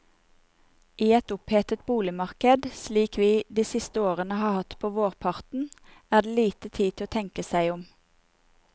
I et opphetet boligmarkedet, slik vi de siste årene har hatt på vårparten, er det lite tid til å tenke seg om.